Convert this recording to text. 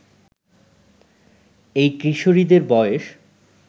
এই কিশোরীদের বয়স